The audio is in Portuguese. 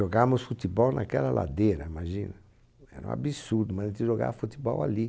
Jogávamos futebol naquela ladeira, imagina? Era um absurdo, mas a gente jogava futebol ali.